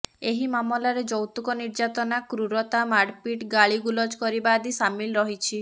ଏହି ମାମଲାରେ ଯୌତୁକ ନିର୍ଯ୍ୟାତନା କ୍ରୂରତା ମାରପିଟ ଗାଳି ଗୁଲଜ କରିବା ଆଦି ସାମିଲ ରହିଛି